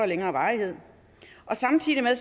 længere varighed samtidig med